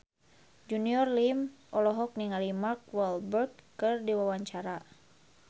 Junior Liem olohok ningali Mark Walberg keur diwawancara